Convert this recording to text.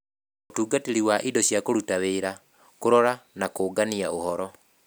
Ũtungatĩri wa indo na kũruta wĩra, kũrora na kũũngania ũhoro